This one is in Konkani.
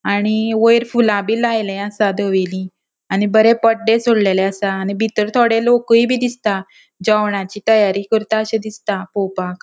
आणि वयर फूला बी लायल्ये असा धवेली आणि बरे पडडे सोडलेले असा आणि बितर थोड़े लोकूय बी दिसता जेवणाची तयारी करताशी दिसता पोवपाक.